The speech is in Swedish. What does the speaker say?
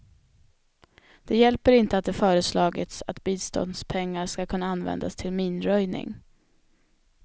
Det hjälper inte att det föreslagits att biståndspengar skall kunna användas till minröjning.